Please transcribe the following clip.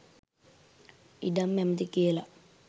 ඉඩම් ඇමති කියල